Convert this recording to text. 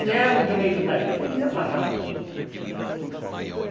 Se é o direito da gente, eles deviam pagar.